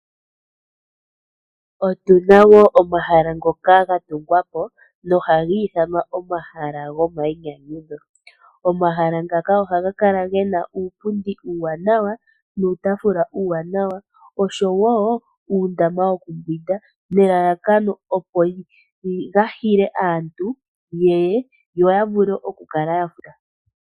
Otuna wo omahala ngoka ga tungwapo no ohagi ithanwa omahala gomainyanyudho. Omahala ngaka ohaga kala gena uupundi uuwanawa, uutafula uuwanawa osho woo uundama wokumbwinda nelalakano opo ga hile aantu yeye yo yavule okukala ya hiila.